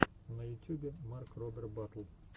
на ютюбе марк робер батл